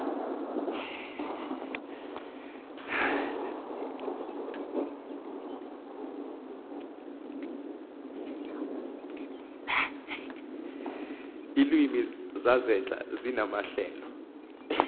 iilwimi zasentla zinamahlelo